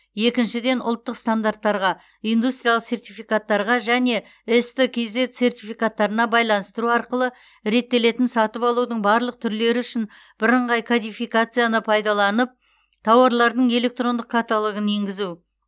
екіншіден ұлттық стандарттарға индустриялық сертификаттарға және ст кзет сертификаттарына байланыстыру арқылы реттелетін сатып алудың барлық түрлері үшін бірыңғай кодификацияны пайдаланып тауарлардың электрондық каталогын енгізу